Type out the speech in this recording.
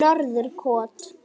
Norðurkoti